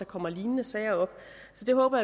kommer lignende sager op så det håber